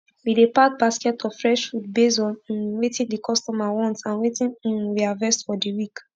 we dey pack basket of fresh food base on um wetin d customer want and wetin um we harvest for d week